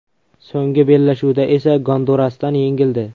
So‘nggi bellashuvda esa Gondurasdan yengildi.